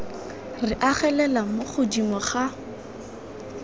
re agelelang mo godimo ga